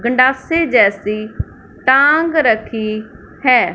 गंडासे जैसी टांग रखी हैं।